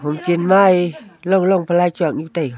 chan ma e long long pe lai tsuak nyu e taga.